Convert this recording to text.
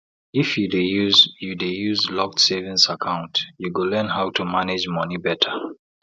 if you dey use you dey use locked savings account you go learn how to manage money better